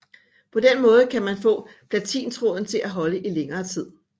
På den måde kan man få platintråden til at holde i længere tid